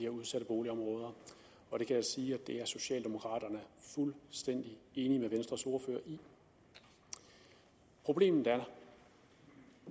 udsatte boligområder og jeg kan sige at det er socialdemokraterne fuldstændig enige med venstres ordfører i problemet